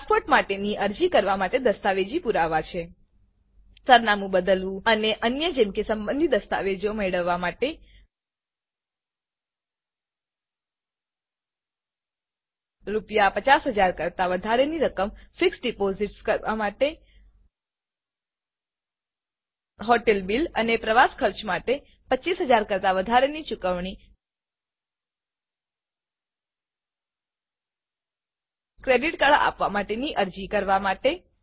passport માટેની અરજી કરવા માટે દસ્તાવેજી પુરાવા છે સરનામું બદલવું અને અન્ય જેમ કે સંબંધિત દસ્તાવેજો મેળવવા માટે આરએસ50000 કરતા વધારે રકમની ફિક્સ્ડ ડિપોઝિટ્સ કરવા માટે હોટેલ બીલ અને પ્રવાસ ખર્ચ માટે 25 000 કરતા વધારેની ચૂકવણી ક્રેડિટ કાર્ડ આપવા માટેની અરજી કરવા માટે